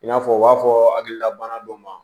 I n'a fɔ u b'a fɔ hakililabana dɔ ma